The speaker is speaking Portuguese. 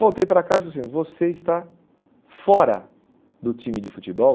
Voltei para casa e falei assim, você está fora do time de futebol.